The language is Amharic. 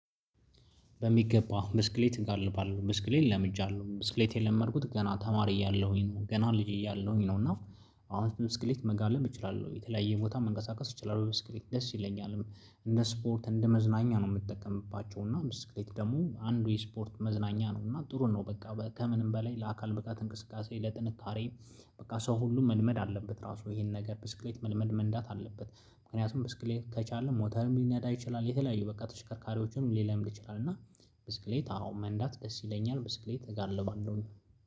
በሚገባ ብስክሌት እንጋልባለን ብስክሌት ለምጃለሁ ብስክሌት የለመድኩት ገና ተማሪ እያለሁኝ ነው ገና ልጅ እያለሁኝ ነው። እና አሁን ብስክሌት መጋለብ እችላለሁ የተለያየ ቦታ መንቀሳቀስ እችላለሁ ብስክሌት ደስ ይለኛል። እንደ ስፖርት እንደ መዝናኛ ነው የምትጠቀምባቸው እና ብስክሌት ደግሞ አንዱ የስፖርት መዝናኛ ነው። እና ጥሩ ነው በቃ ከምንም በላይ ለአካል ብቃት እንቅስቃሴ ለጥንካሬ። በቃ ሰው ሁሉ መልመድ አለበት ራሱ ይሄን ነገር ብስክሌት መልመድ መንዳት አለበት። ምክንያቱም ብስክሌት ከቻልን ሞተርም ሊናዳ ይችላል የተለያዩ በቃ ተሽከርካሪዎችን ሊለምድ ይችላል። እና ብስክሌት አሁን መንዳት ደስ ይለኛል ብስክሌት እጋልባለሁኝ።